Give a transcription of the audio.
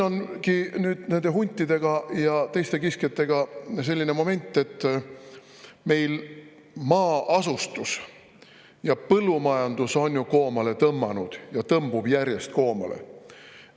Nüüd ongi huntide ja teiste kiskjatega selline moment, et meil on maa-asustus ja põllumajandus koomale tõmbunud ja tõmbuvad järjest rohkem koomale.